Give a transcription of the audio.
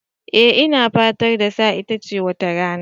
Eh ina fatar dasa itace wata rana.